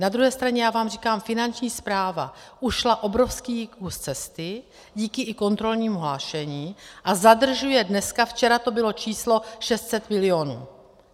Na druhé straně já vám říkám, Finanční správa ušla obrovský kus cesty díky i kontrolnímu hlášení a zadržuje dneska - včera to bylo číslo 600 milionů.